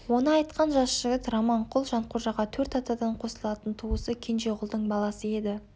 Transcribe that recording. оны айтқан жас жігіт раманқұл жанқожаға төрт атадан қосылатын туысы кенжеғұлдың баласы еді